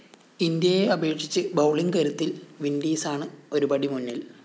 ഇന്ത്യയെ അപേക്ഷിച്ച് ബൌളിംഗ്‌ കരുത്തില്‍ വിന്‍ഡീസാണ് ഒരുപടി മുന്നില്‍